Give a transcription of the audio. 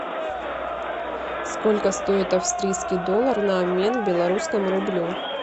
сколько стоит австрийский доллар на обмен белорусскому рублю